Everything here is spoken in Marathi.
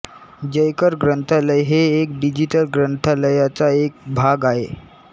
जयकर ग्रंथालय हे एक डिजिटल ग्रंथलयाचा एक भाग आहे